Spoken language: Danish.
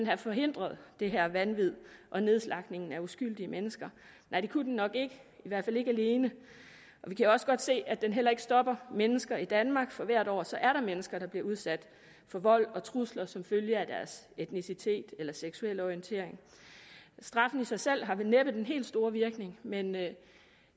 have forhindret det her vanvid og nedslagtningen af uskyldige mennesker nej det kunne den nok ikke i hvert fald ikke alene og vi kan også godt se at den heller ikke stopper mennesker i danmark for hvert år er der mennesker der bliver udsat for vold og trusler som følge af deres etnicitet eller seksuelle orientering straffen i sig selv har vel næppe den helt store virkning men